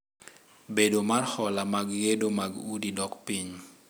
Bedo mar hola mag gedo mag udi dok piny.